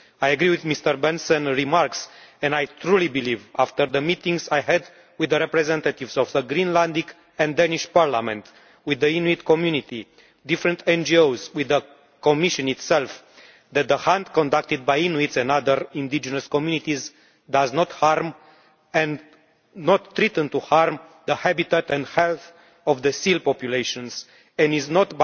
I agree with Mr Bendtsen's remarks and I truly believe, after the meetings I had with the representatives of the Greenland and Danish Parliament, with the Inuit community, different NGOs and with the Commission itself, that the hunt conducted by Inuits and other indigenous communities does not harm or threaten to harm the habitat and health of the seal populations, and there is no